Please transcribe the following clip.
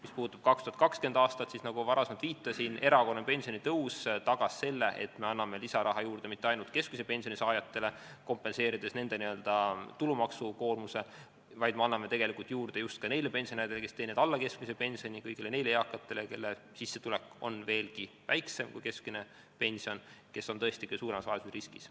Mis puudutab 2020. aastat, siis nagu ma varem viitasin, erakorraline pensionitõus tagas selle, et me anname lisaraha juurde mitte ainult keskmise pensioni saajatele, kompenseerides nende n-ö tulumaksukoormuse, vaid me anname juurde just ka neile pensionäridele, kes teenivad alla keskmise pensioni, kõigile neile eakatele, kelle sissetulek on veelgi väiksem kui keskmine pension ja kes on tõesti kõige suuremas vaesusriskis.